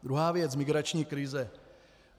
Druhá věc - migrační krize.